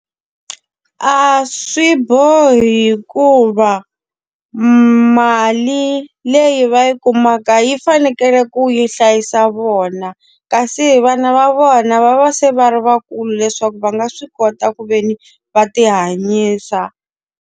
A swi bohi hikuva mali leyi va yi kumaka yi fanekele ku yi hlayisa vona. Kasi vana va vona va va se va ri va kulu leswaku va nga swi kota ku ve ni va ti hanyisa.